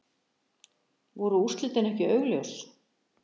Voru úrslitin ekki augljós?